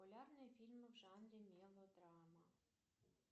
популярные фильмы в жанре мелодрама